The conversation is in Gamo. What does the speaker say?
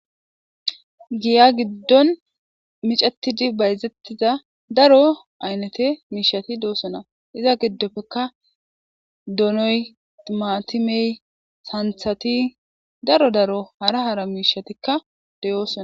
Giya giddoni miccetidi bayizetidda darro ayifeti deyesona. Iza giddonika doonoyi, timatimeyi darro darro hara hara kochatika deyosona.